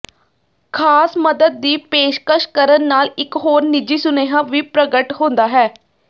ਖਾਸ ਮਦਦ ਦੀ ਪੇਸ਼ਕਸ਼ ਕਰਨ ਨਾਲ ਇੱਕ ਹੋਰ ਨਿੱਜੀ ਸੁਨੇਹਾ ਵੀ ਪ੍ਰਗਟ ਹੁੰਦਾ ਹੈ